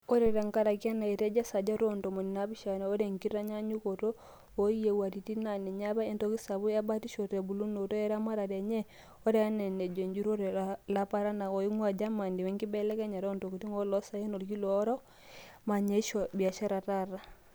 Ore tenkaraki ena, etejo esajati oontomoni naapishana ore enkitukunyakinoto oo yiewaritin naa ninye apa entoki sapuk ebatisho tebulunoto eramatare enye, oree enaa enejoo ejurore laparanak oingua Germany wenkibelekenya ootokitin oolooosaen olkila orok (AHK), manyishoo ebiashara taata.